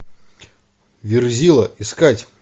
верзила искать